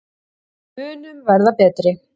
Við munum verða betri.